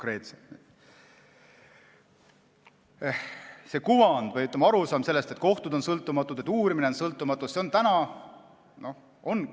See kuvand või arusaam, et kohtud on sõltumatud ja uurimine on sõltumatu, on täna oluline.